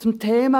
Zum Thema